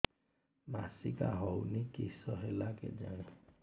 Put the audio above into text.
ମାସିକା ହଉନି କିଶ ହେଲା କେଜାଣି